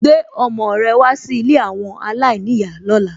Gbé ọmọ rẹ wá sí ilé àwọn aláìníyàá lóla.